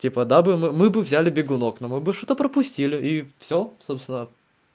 типа да бы мы бы взяли бегунок но мы бы что-то пропустили и всё собственно